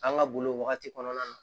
An ka boli wagati kɔnɔna na